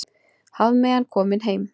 Hafmeyjan komin heim